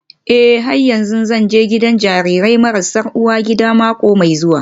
Eh har yanzu zan je gidan jarirai marasa uwa gida mako mai zuwa